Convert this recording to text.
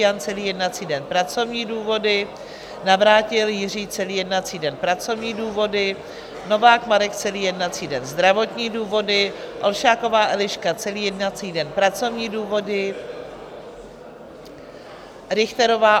Jan celý jednací den - pracovní důvody, Navrátil Jiří celý jednací den - pracovní důvody, Novák Marek celý jednací den - zdravotní důvody, Olšáková Eliška celý jednací den - pracovní důvody, Richterová